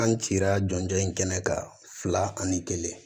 An cira jɔnjɔn in kɛɲɛ kan fila ani kelen